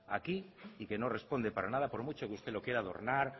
aquí y que no responde para nada por mucho que usted lo quiera adornar